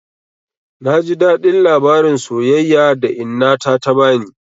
Na ji daɗin labarin soyayya da inna ta bani.